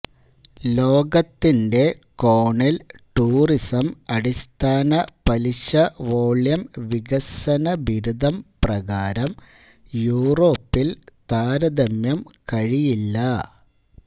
ലോകത്തിൻറെ കോണിൽ ടൂറിസം അടിസ്ഥാന പലിശ വോള്യം വികസന ബിരുദം പ്രകാരം യൂറോപ്പിൽ താരതമ്യം കഴിയില്ല